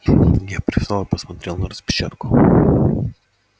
я привстал и посмотрел на распечатку